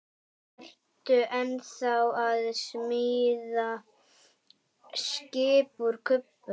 Ertu ennþá að smíða skip úr kubbum?